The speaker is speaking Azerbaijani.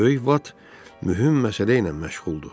Böyük vat mühüm məsələ ilə məşğuldur.